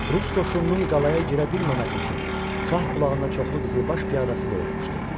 Rus qoşununun qalaya girə bilməməsi üçün Şahbulağına çoxlu qızılbaş piyadası qoyulmuşdu.